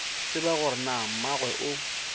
tsebe gore na mmagwe o